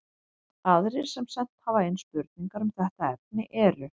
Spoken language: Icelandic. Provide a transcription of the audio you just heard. Aðrir sem sent hafa inn spurningar um þetta efni eru: